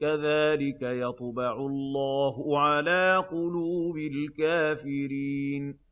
كَذَٰلِكَ يَطْبَعُ اللَّهُ عَلَىٰ قُلُوبِ الْكَافِرِينَ